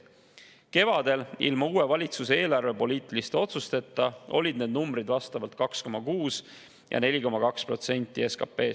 Kevadel, ilma uue valitsuse eelarvepoliitiliste otsusteta olid need numbrid vastavalt 2,6% ja 4,2% SKP-st.